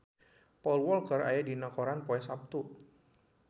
Paul Walker aya dina koran poe Saptu